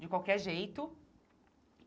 De qualquer jeito.